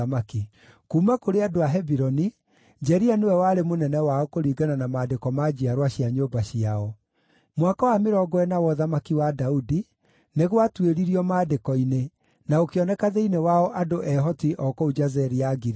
Kuuma kũrĩ andũ a Hebironi, Jeria nĩwe warĩ mũnene wao kũringana na maandĩko ma njiarwa cia nyũmba ciao. Mwaka wa mĩrongo ĩna wa ũthamaki wa Daudi nĩ gwatuĩririo maandĩko-inĩ, na gũkĩoneka thĩinĩ wao andũ ehoti o kũu Jazeri ya Gileadi.